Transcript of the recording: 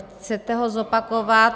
Chcete ho zopakovat?